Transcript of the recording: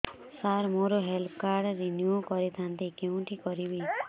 ସାର ମୋର health card renew କରିଥାନ୍ତି କେଉଁଠି କରିବି